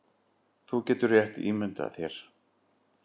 Þú getur rétt ímyndað þér